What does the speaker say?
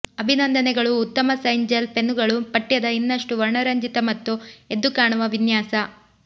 ಅಭಿನಂದನೆಗಳು ಉತ್ತಮ sign gel ಪೆನ್ನುಗಳು ಪಠ್ಯದ ಇನ್ನಷ್ಟು ವರ್ಣರಂಜಿತ ಮತ್ತು ಎದ್ದುಕಾಣುವ ವಿನ್ಯಾಸ